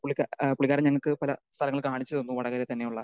speaker 2 പുള്ളിക്കാരൻ ഞങ്ങൾക്ക് പല സ്ഥലങ്ങൾ കാണിച്ചു തന്നു വടകരയിൽ തന്നെയുള്ള